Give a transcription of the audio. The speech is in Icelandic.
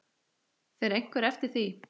Fer einhver eftir því?